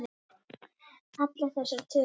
Allar þessar tölur.